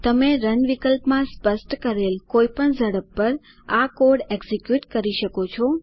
તમે રન વિકલ્પમાં સ્પષ્ટ કરેલ કોઈ પણ ઝડપ પર આ કોડ એકઝીક્યુટ કરી શકો છો